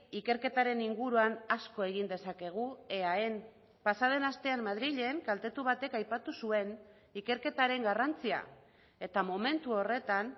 ikerketaren inguruan asko egin dezakegu eaen pasaden astean madrilen kaltetu batek aipatu zuen ikerketaren garrantzia eta momentu horretan